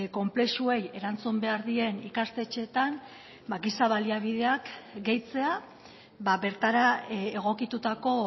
konplexuei erantzun behar dien ikastetxeetan giza baliabideak gehitzea bertara egokitutako